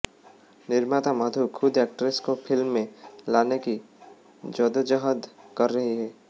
निर्माता मधु खुद एक्ट्रेस को फिल्म में लाने की जद्दोजहद कर रहीं हैं